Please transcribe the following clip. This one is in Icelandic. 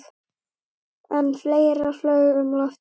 En fleira flaug um loftið.